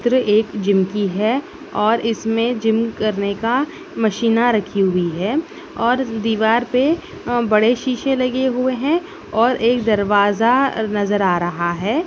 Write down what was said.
चित्र एक जिम की है और इसमें जिम करने का मशीना रखी हुई है और दीवार पे अ बड़े शीशे लगे हुए हैं और एक दरवाजा नजर आ रहा है।